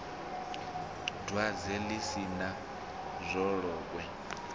dwadze ḽi si na dzolokwe